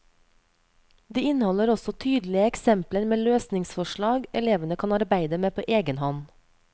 De inneholder også tydelige eksempler med løsningsforslag elevene kan arbeide med på egen hånd.